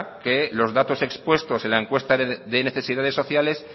que los datos expuestos en la encuesta de necesidades sociales